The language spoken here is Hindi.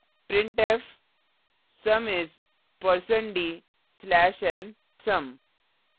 printfsum is %d\nsum;